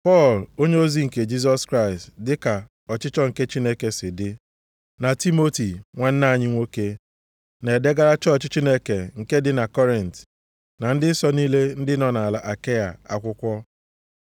Pọl, onyeozi nke Jisọs Kraịst dịka ọchịchọ nke Chineke si dị, na Timoti nwanne anyị nwoke, Na-edegara chọọchị Chineke nke dị na Kọrint, na ndị nsọ niile ndị nọ nʼala Akaịa akwụkwọ: